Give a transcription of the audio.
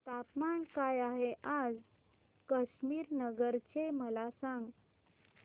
तापमान काय आहे आज कुशीनगर चे मला सांगा